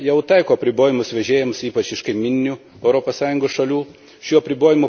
Rusija jau taiko apribojimus vežėjams ypač iš kaimyninių Europos Sąjungos šalių.